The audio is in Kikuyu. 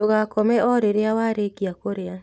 Ndũgakome o rĩrĩa warĩkia kũrĩa